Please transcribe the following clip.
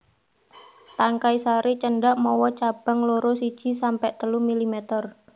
Tangkai sari cendhak mawa cabang loro siji sampe telu milimeter